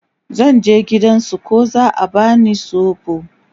zan je gidan su ko za'a bani sobo